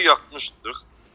Evdə yatmışdıq.